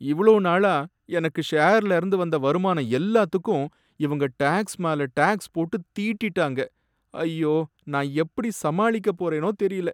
இவ்ளோ நாளா எனக்கு ஷேர்லர்ந்து வந்த வருமானம் எல்லாத்துக்கும் இவங்க டேக்ஸ் மேல டேக்ஸ் போட்டு தீட்டிட்டாங்க, ஐயோ! நான் எப்படி சமாளிக்க போறேனோ தெரியல.